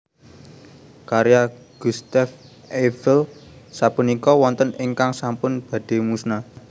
Karya Gustave Eiffel sapunika wonten ingkang sampun badhe musna